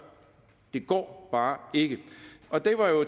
det går bare ikke